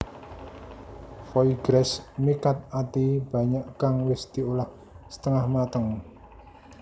Foie gras mi cut Ati banyak kang wis diolah setengah mateng